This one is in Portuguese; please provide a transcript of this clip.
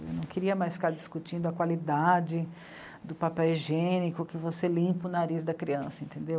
Não queria mais ficar discutindo a qualidade do papel higiênico que você limpa o nariz da criança, entendeu?